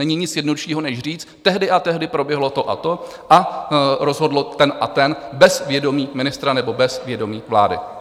Není nic jednoduššího než říct: Tehdy a tehdy proběhlo to a to a rozhodl ten a ten bez vědomí ministra nebo bez vědomí vlády.